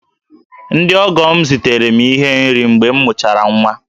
Ndị ọgọ m zitere m ihe nri mgbe m mụchara nwa